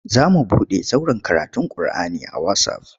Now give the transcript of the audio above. Za mu buɗe zauren karatun kur'ani a wasaf.